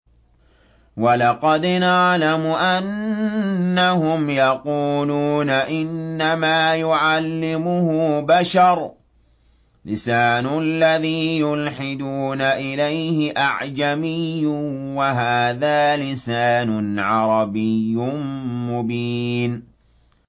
وَلَقَدْ نَعْلَمُ أَنَّهُمْ يَقُولُونَ إِنَّمَا يُعَلِّمُهُ بَشَرٌ ۗ لِّسَانُ الَّذِي يُلْحِدُونَ إِلَيْهِ أَعْجَمِيٌّ وَهَٰذَا لِسَانٌ عَرَبِيٌّ مُّبِينٌ